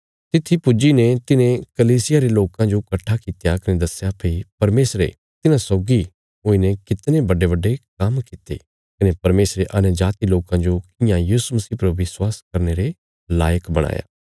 तित्थी पुज्जी ने तिन्हें कलीसिया रे लोकां जो कट्ठा कित्या कने दस्या भई परमेशरे तिन्हां सौगी हुईने कितणे बड्डेबड्डे काम्म कित्ते कने परमेशरे अन्यजाति लोकां जो कियां यीशु मसीह पर विश्वास करने रे लायक बणाया